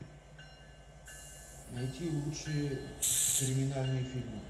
найти лучшие криминальные фильмы